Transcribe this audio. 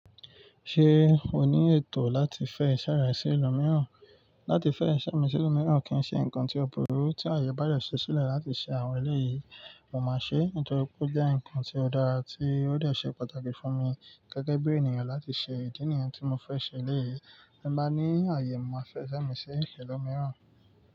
Ṣé o ní ètò láti fẹ́ iṣẹ́ rẹ sí ẹlòmíràn? Láti fẹ́ iṣẹ́ mi sí ilu míràn kì í ṣe nǹkan tí ó burú tí àyè bá dẹ̀ ṣò sílẹ̀ láti ṣe àwọn ẹlẹ́ yìí, mo máa ṣe é nítorí pé ó jẹ́ ǹkan tí ó dára tí ó dẹ̀ ṣe pàtàkì fún mi gẹ́gẹ́ bí ènìyàn láti ṣe ìdí nìyàn tí mo fẹ́ ṣe lẹ́yìn. Bí m'bá ní àyè, mo máa fẹ́ iṣẹ́ mi sí ẹilu míràn.